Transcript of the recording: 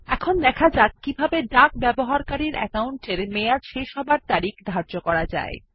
এখন দেখা যাক কিভাবে ডাক ব্যবহারকারীর অ্যাকাউন্টের মেয়াদ শেষ হওয়ার তারিখ ধার্য করা যায়